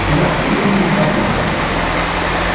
вы ответили не подумав